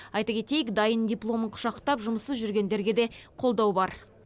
айта кетейік дайын дипломын құшақтап жұмыссыз жүргендерге де қолдау бар